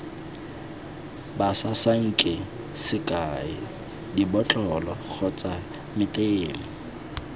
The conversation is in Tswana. basasanki sekai dibotlolo kgotsa meteme